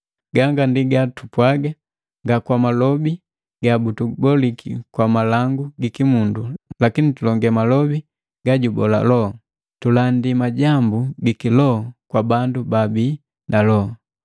Ganga ndi gatupwaga nga kwa malobi gabutubolisi kwa malangu giki mundu lakini tulonge malobi gajubola Loho, tulandi majambu giki Loho kwa bandu baabi na Loho.